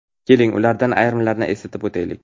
Keling, ulardan ayrimlarini eslatib o‘taylik.